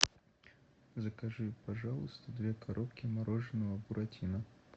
закажи пожалуйста две коробки мороженого буратино